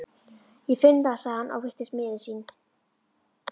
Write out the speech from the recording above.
Ég finn það, sagði hann og virtist miður sín.